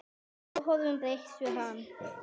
Við áhorf bregst hann við.